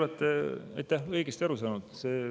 Jaa, te olete õigesti aru saanud.